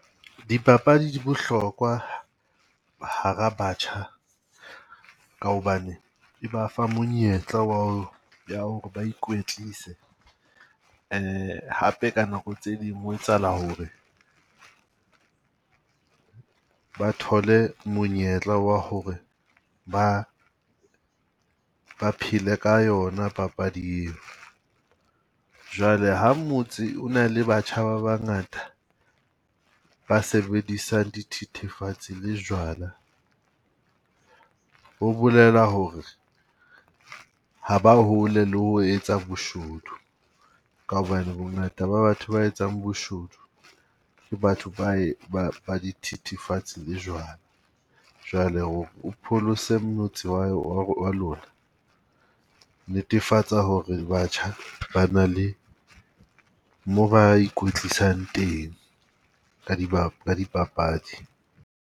Dipapadi di bohlokwa hara batjha ka hobane di ba fa monyetla wa hore ba ikwetlise, hape ka nako tse ding ho etsahala hore ba thole monyetla wa hore ba ba phele ka yona papadi eo. Jwale ha motse ona le batjha ba bangata, ba sebedisang dithethefatsi le jwala, ho bolela hore ha ba hole le ho etsa boshodu. Ka hobane bongata ba batho ba etsang boshodu le batho ba ba ba dithethefatsi le jwala. Jwale o pholose motse wa wa wa lona, netefatsa hore batjha ba na le mo ba ikwetlisang teng, ka ka dipapadi.